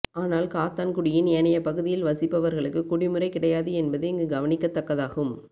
ஆனால் காத்தான்குடியின் ஏனைய பகுதியில் வசிப்பவர்களுக்கு குடிமுறை கிடையாது என்பது இங்கு கவனிக்கத் தக்கதாகும்